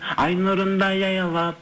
ай нұрындай аялап